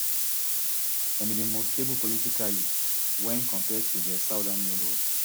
dem be di most stable politically wen compared to dia southern neighbour